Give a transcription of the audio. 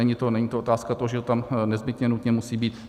Není to otázka toho, že to tam nezbytně nutně musí být.